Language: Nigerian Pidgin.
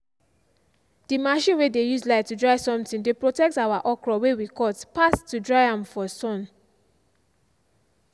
the machine way dey use light to dry something dey protect our okro way we cut pass to dry am for sun.